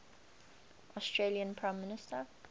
australian prime minister